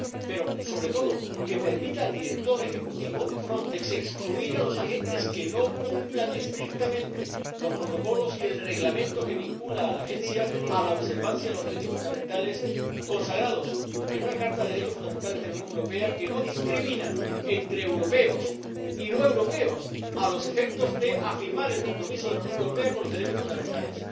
Pero, sobre todo, que permita al director ejecutivo de Frontex excluir a los agentes que no cumplan estrictamente los protocolos y el Reglamento que vincula a la agencia a la observancia de los derechos fundamentales consagrados en una Carta de los Derechos Fundamentales de la Unión Europea que no discrimina entre europeos y no europeos a los efectos de afirmar el compromiso de la Unión Europea con los derechos fundamentales.